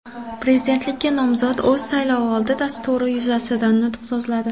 Prezidentlikka nomzod o‘z saylovoldi dasturi yuzasidan nutq so‘zladi.